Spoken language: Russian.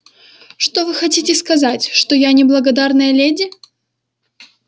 что вы хотите сказать что я не благодарная леди